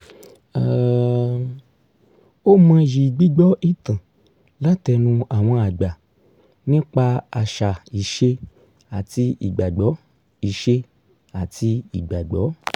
um ó mọyì gbígbọ́ ìtàn látẹnu àwọn àgbà nípa àṣà ìṣe àti ìgbàgbọ́ ìṣe àti ìgbàgbọ́